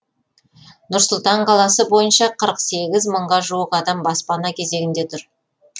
нұр сұлтан қаласы бойынша қырық сегіз мыңға жуық адам баспана кезегінде тұр